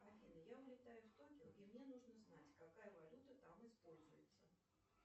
афина я улетаю в токио и мне нужно знать какая валюта там используется